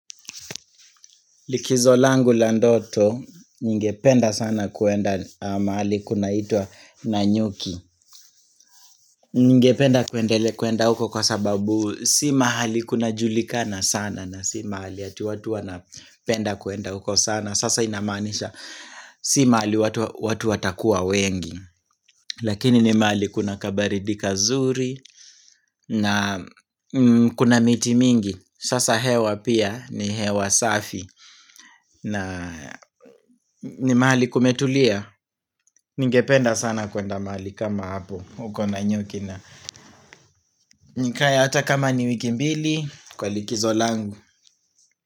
Likizo langu landoto ningependa sana kuenda mahali kunaitwa nanyuki Ningependa kwenda huko kwa sababu si mahali kuna julikana sana na si mahali ati watu wanapenda kwenda huko sana Sasa inamaanisha si mahali watu watakuwa wengi Lakini ni mahali kuna kabaridi kazuri na kuna miti mingi Sasa hewa pia ni hewa safi na ni mahali kumetulia Ningependa sana kwenda mahali kama hapo uko nanyuki na nikae hata kama ni wiki mbili Kwa likizo langu.